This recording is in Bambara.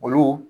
Olu